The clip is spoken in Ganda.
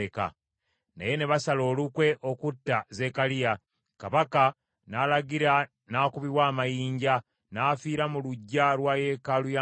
Naye ne basala olukwe okutta Zekkaliya, kabaka n’alagira n’akubibwa amayinja, n’afiira mu luggya lwa yeekaalu ya Mukama .